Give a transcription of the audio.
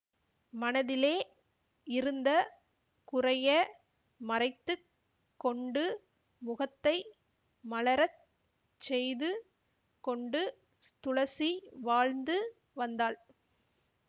மனதிலே இருந்த குறைய மறைத்து கொண்டு முகத்தை மலர செய்து கொண்டு துளசி வாழ்ந்து வந்தாள்